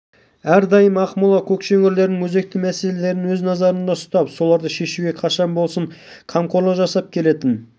бірге әлемдік маңызға ие астықты аймақ соған орай аграрлық өнімдердің көлемі мен сапасын одан әрі